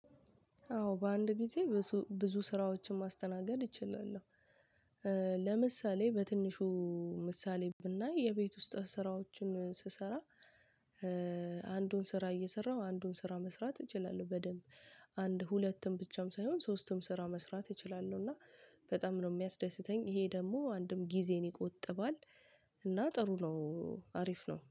አዎ በአንድ ጊዜ ብዙ ስራዎችን ማስተናገድ አችላለሁ። ለምሳሌ በትንሹ ምሳሌ ብናይ የቤት ውስጥ ስራዎችን ስሰራ አንዱን ስራ እየሰራው አንዱን ስራ መስራት እችላለሁ በደንብ። አንድ ሁለትም ብቻም ሳይሆን ሶስትም ስራ መስራት እችላለሁ። እና በጣም ነው የሚያስደስተኝ ይሄ ደግሞ አንድም ጊዜን ይቆጥባል። እና ጥሩ ነው አሪፍ ነው